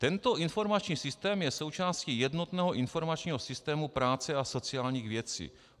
"Tento informační systém je součástí jednotného informačního systému práce a sociálních věcí."